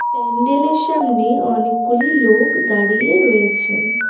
প্যান্ডেলের সামনে অনেকগুলি লোক দাঁড়িয়ে রয়েছেন।